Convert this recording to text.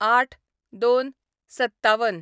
०८/०२/५७